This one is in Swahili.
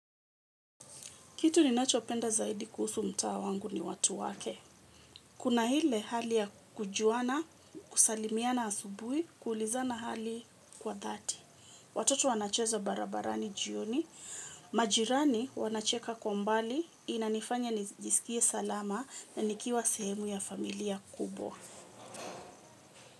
Kitu ninachopenda zaidi kuhusu mtaa wangu ni watu wake. Kuna ile hali ya kujuana, kusalimiana asubuhi, kuulizana hali kwa dhati. Watoto wanacheza barabarani jioni, majirani wanacheka kwa mbali, inanifanya nijisikie salama na nikiwa sehemu ya familia kubwa.